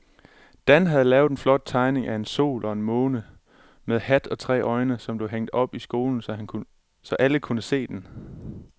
Dan havde lavet en flot tegning af en sol og en måne med hat og tre øjne, som blev hængt op i skolen, så alle kunne se den.